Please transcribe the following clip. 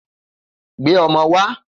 Gbé o̩mo̩ wá!